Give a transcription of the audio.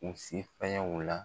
U si fɛnɲɛ o la